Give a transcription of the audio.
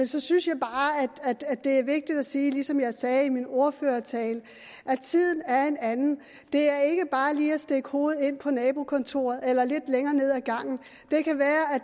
så synes jeg bare at det er vigtigt at sige ligesom jeg sagde i min ordførertale at tiden er en anden det er ikke bare lige at stikke hovedet ind på nabokontoret eller lidt længere nede ad gangen det kan være at